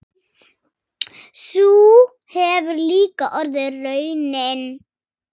Sú hefur líka orðið raunin.